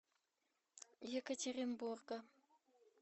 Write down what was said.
екатеринбурга